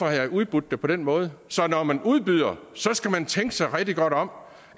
været udbudt på den måde så når man udbyder skal man tænke sig rigtig godt om